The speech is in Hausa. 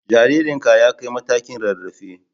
Jaririnka ya kai matakin rarrafe